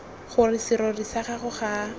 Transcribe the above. gore serori sa gago ga